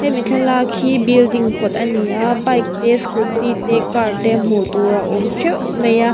hemi thlalak hi building kawt ani a bike te scooty te car te hmuh tur a awm teuh mai a.